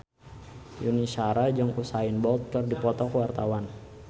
Yuni Shara jeung Usain Bolt keur dipoto ku wartawan